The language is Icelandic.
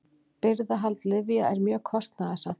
Birgðahald lyfja er mjög kostnaðarsamt.